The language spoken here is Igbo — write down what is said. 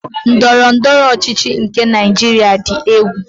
Ndọrọndọrọ ọchịchị nke Naịjiria dị egwu.